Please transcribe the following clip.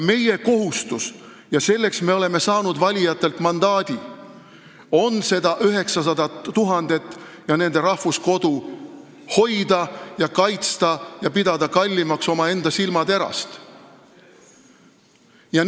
Meie kohustus, milleks me oleme saanud valijatelt mandaadi, on seda 900 000 inimest ja nende rahvuskodu hoida, kaitsta ja pidada omaenda silmaterast kallimaks.